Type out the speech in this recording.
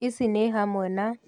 Ici ni hamwe na